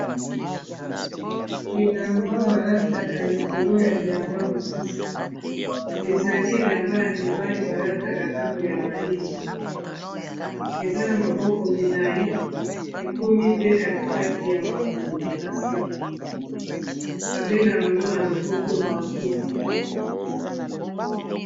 elamba balataka likolo ya bilamba mosusu ezali elamba ya mibali balataka ntango ya malili eza na maboko milai ekomi pe katikati ya makolo na se babenga yango na lopoto manteau